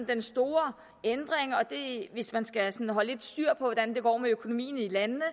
den store ændring og hvis man skal holde sådan lidt styr på hvordan det går med økonomien i landene